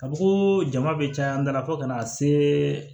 Ka fɔ koo jama bɛ caya n da la fo kana se